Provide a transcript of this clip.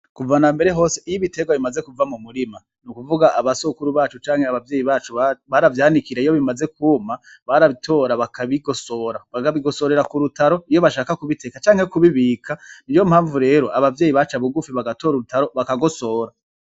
Kuva nambere hose iy'iberwa bimaze kuva mu murima nukuvuga abasokuru bacu cank'abavyeyi bacu baravyanikira iyo bimaze kuma barabitora bakabigosora, bakabigosorera k'urutaro iyo bashaka kubiteka canke kubibika niyompamvu rero Abavyeyi benshi baca bugufi bator'urutaro bakagosora.